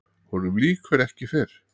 Honum lýkur ekki fyrr.